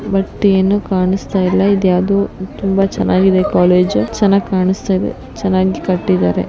But ಏನು ಕಾಣಸ್ತಾ ಇಲ್ಲ ಇದು ಯಾವುದೋ ತುಂಬಾ ಚೆನ್ನಾಗಿ ಇದೆ ಕಾಲೇಜು ಚೆನ್ನಾಗಿ ಕಾಣುಸ್ತಾ ಇದೆ ಚೆನ್ನಾಗಿ ಕಟ್ಟಿದ್ದಾರೆ.